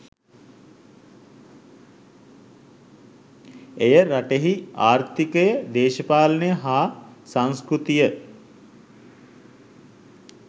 එය රටෙහි ආර්ථීකය දේශපාලනය හා සංස්කෘතිය